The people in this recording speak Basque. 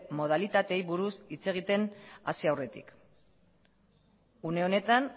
modalitateei buruz hitz egiten hasi aurretik une honetan